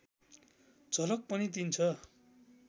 झलक पनि दिन्छ